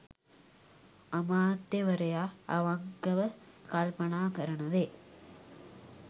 අමාත්‍යවරයා අවංකව කල්පනා කරන දේ